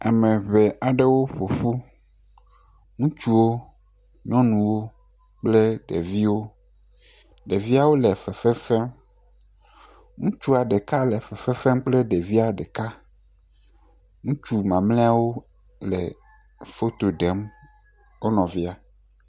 Ame ŋee aɖewo ƒo ƒu, ŋutsuwo, nyɔnuwo kple ɖeviwo. Ɖeviawo le fefefem. Ŋutsua ɖeka le fefefem kple ɖevia ɖeka. Ŋutsu mamlɛawo le foto ɖem wo nɔvia.